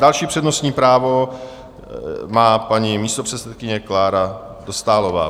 Další přednostní právo má paní místopředsedkyně Klára Dostálová.